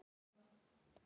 Og glas.